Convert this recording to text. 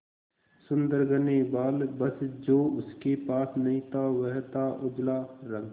सुंदर घने बाल बस जो उसके पास नहीं था वह था उजला रंग